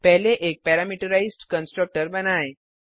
पहले एक parameterised constructor बनाएँ